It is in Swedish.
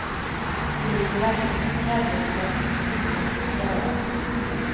Det ligger verkligen mycket arbete bakom musiken, det hörs.